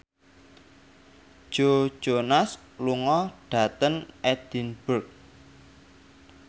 Joe Jonas lunga dhateng Edinburgh